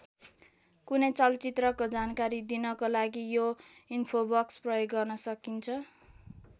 कुनै चलचित्रको जानकारी दिनको लागि यो इन्फोबक्स प्रयोग गर्न सकिन्छ।